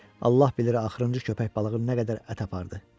Allah bilir axırıncı köpək balığı nə qədər ət apardı.